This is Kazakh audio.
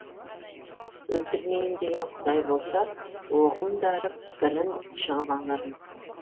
өлтірмейін деген құдай болса оғым дарып бірін жығып алармыз